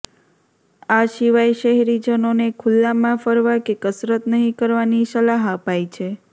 આ સિવાય શહેરીજનોને ખુલ્લામાં ફરવા કે કસરત નહીં કરવાની સલાહ અપાઈ છે